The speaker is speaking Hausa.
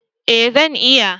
Eh, zan iya